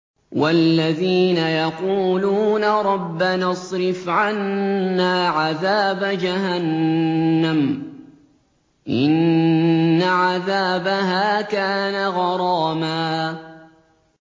وَالَّذِينَ يَقُولُونَ رَبَّنَا اصْرِفْ عَنَّا عَذَابَ جَهَنَّمَ ۖ إِنَّ عَذَابَهَا كَانَ غَرَامًا